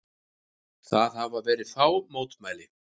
Það hafa verið fá mótmæli